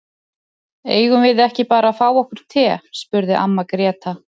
Eigum við ekki bara að fá okkur te, spurði amma Gréta.